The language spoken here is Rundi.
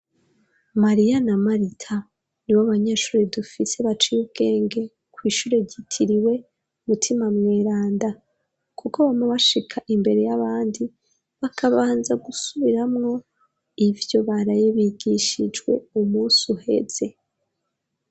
Maria na marita ni bo abanyeshuri dufise bacaye ubwenge ku ishure gitiriwe umutima mweranda kuko bamwe bashika imbere y'abandi bakabanza gusubiramwo ibyo baraye bigishijwe umunsi uheze.